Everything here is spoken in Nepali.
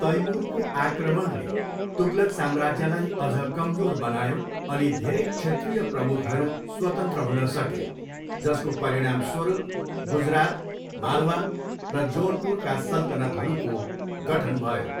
तैमुरको आक्रमणले तुगलक साम्राज्यलाई अझ कमजोर बनायो अनि धेरै क्षेत्रीय प्रमुखहरू स्वतन्त्र हुन सके, जसको परिणामस्वरूप गुजरात, मालवा र जोनपुरका सल्तनतहरूको गठन भयो।